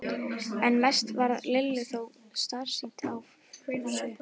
En mest varð Lillu þó starsýnt á Fúsa.